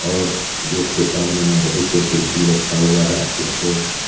और गेट के सामने में बहुत से कुर्सी रखा हुआ है उसे पे--